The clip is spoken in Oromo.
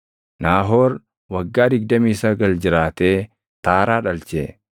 Naahoor waggaa 29 jiraatee Taaraa dhalche.